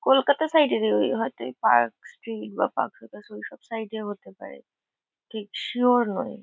Kolkata side -এরই। ওই হয়তো ওই পার্ক স্ট্রিট বা পার্ক সার্কাস ওইসব সাইড -এ হতে পারে। ঠিক সিওর নই।